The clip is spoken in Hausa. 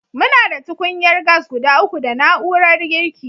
Muna da tukunyar gas guda uku da na'urar girki.